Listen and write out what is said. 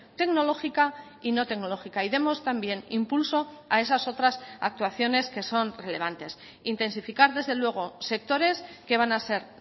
tecnológica y no tecnológica y demos también impulso a esas otras actuaciones que son relevantes intensificar desde luego sectores que van a ser